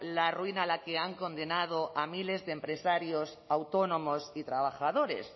la ruina a la que han condenado a miles de empresarios autónomos y trabajadores